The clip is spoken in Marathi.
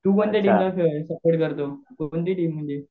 तू कोणत्या टीमला सपोर्ट करतो? कोणती टीम म्हणजे?